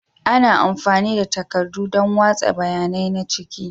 Ana amfani da takardu don watsa bayanai na ciki.